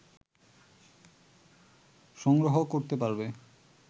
সংগ্রহ করতে পারবে